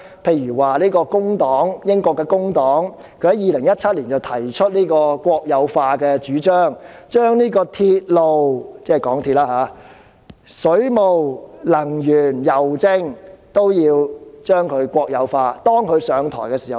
以如英國工黨為例，它於2017年提出國有化的主張，建議將鐵路、水務、能源、郵政國有化，待該黨上台時便會落實。